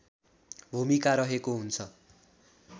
भूमिका रहेको हुन्छ